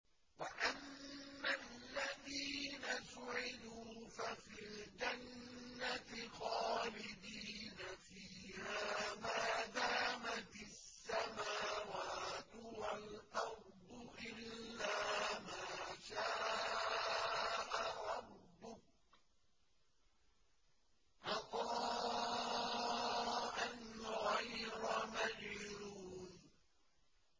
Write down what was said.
۞ وَأَمَّا الَّذِينَ سُعِدُوا فَفِي الْجَنَّةِ خَالِدِينَ فِيهَا مَا دَامَتِ السَّمَاوَاتُ وَالْأَرْضُ إِلَّا مَا شَاءَ رَبُّكَ ۖ عَطَاءً غَيْرَ مَجْذُوذٍ